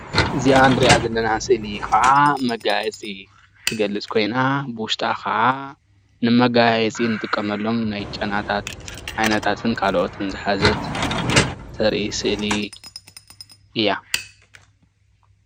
እዚኣ እንሪኣ ዘለና ስእሊ ከዓ መገያየፂ ትገልፅ ኮይና ብዉሽጣ ከዓ ንመገያየፂ እንጥቀመሎም ናይ ጨናታት ዓይነታትን ካልኦትን ዝሓዘት ተርኢ ስእሊ እያ።